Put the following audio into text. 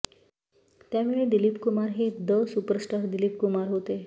त्यावेळी दिलीप कुमार हे the superstar Dilip Kumar होते